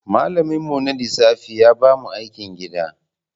Malaminmu na lissafi ya ba mu aikin gida.